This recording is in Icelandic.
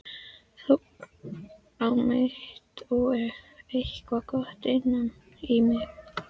Þór á mitt og eitthvað gott innan í.